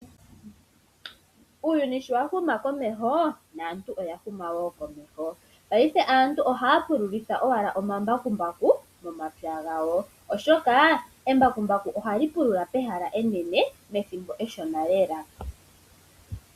Uuyuni showa huma komehoo, naantu oyahuma wo komeho, paife aantu ohaya pululitha owala omambakumbaku momapya gawo, oshokaa embakumbaku ohali pulula pehala enene methimbo eshona lela.